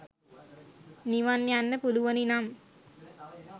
නිවන් ‍යන්න පුලුවනි නම්